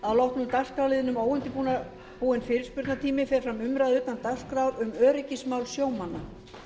að loknum liðnum óundirbúinn fyrirspurnatími fer fram umræða utan dagskrá um öryggismál sjómanna